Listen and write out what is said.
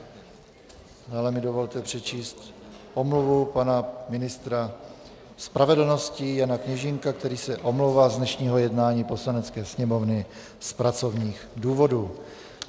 Dále mi dovolte přečíst omluvu pana ministra spravedlnosti Jana Kněžínka, který se omlouvá z dnešního jednání Poslanecké sněmovny z pracovních důvodů.